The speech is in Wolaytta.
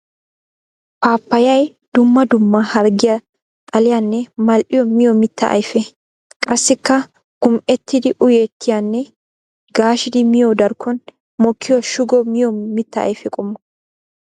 Paapayay dumma dumma harggiya xalliyanne mal'iyaa miyo mitta ayfe. Qassikka gumi'ettidi uyettiyanne gaashshidi miyo darkkon mokkiya shugo miyo mitta ayfe qommo.